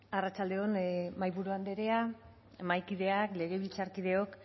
arratsalde on mahaiburu andrea mahaikideak legebiltzarkideok